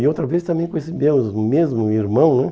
E outra vez também com esse mesmo mesmo irmão, né?